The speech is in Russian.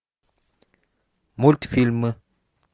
мультфильмы